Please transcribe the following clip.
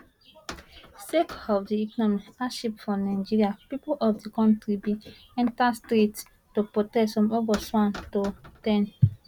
sake of di economic hardship for nigeria pipo of di kontri bin enta streets to protest from august 1 to 10